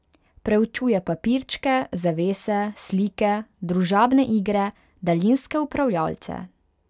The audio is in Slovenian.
Preučuje papirčke, zavese, slike, družabne igre, daljinske upravljalce.